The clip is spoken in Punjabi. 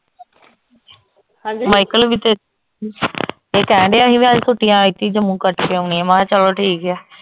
ਮਾਇਕਲ ਵੀ ਤੇ ਇਹ ਕਹਿਣ ਡਆ ਹੀ ਵੀ ਅੱਜ ਛੁੱਟੀਆਂ ਐਤਕੀ ਜੰਮੂ ਕੱਟ ਕੇ ਆਉਣੀਆਂ ਮੈ ਕਾ ਚਲੋ ਠੀਕ ਆ